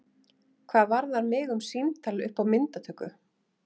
Hvað varðar mig um símtal upp á myndatöku?